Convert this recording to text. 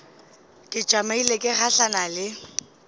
ke tšamile ke gahlana le